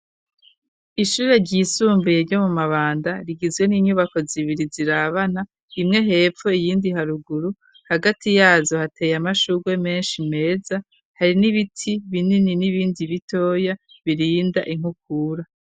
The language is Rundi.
Ishure ryisumbuye ryo mu Mabanda rigizwe n'inyubako zibiri zirabana imwe hepfo iyindi haruguru hagati yazo hateye amashugwe meshi meza hari n'ibiti binini n'ibindi bitoya birinda inkukura.